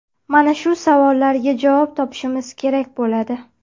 Mana shu savollarga javob topishimiz kerak bo‘ladi.